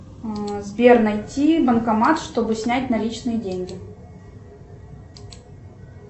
сбер найти банкомат чтобы снять наличные деньги